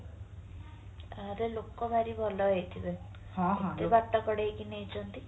ତାହେଲେ ଲୋକ ଭାରି ଭଲ ହେଇଥିବେ ବାଟ କଢେଇକି ନେଇଛନ୍ତି